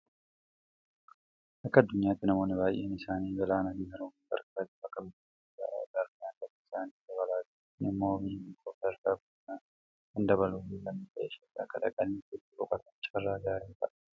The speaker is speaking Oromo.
Akka addunyaatti namoonni baay'een isaanii galaanaafi Haroowwan qarqaratti bakka bashannanaa ijaaruudhaan galii isaanii dabalaa jiru. Kun immoo biyya tokkoof sadarkaa guddinaa kan dabaluufi lammiileen ishees akka dhaqanii achitti boqotaniif carraa gaarii ta'a.